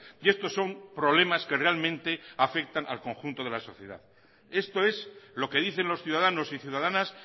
y estos son problemas que realmente afectan al conjunto de la sociedad esto es lo que dicen los ciudadanos y ciudadanas